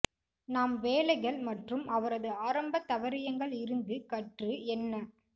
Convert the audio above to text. நாம் வேலைகள் மற்றும் அவரது ஆரம்ப தவறியங்கள் இருந்து கற்று என்ன